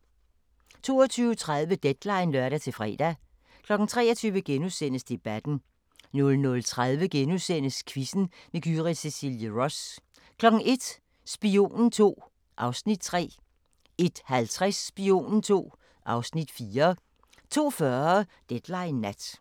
22:30: Deadline (lør-fre) 23:00: Debatten * 00:30: Quizzen med Gyrith Cecilie Ross * 01:00: Spionen II (Afs. 3) 01:50: Spionen II (Afs. 4) 02:40: Deadline Nat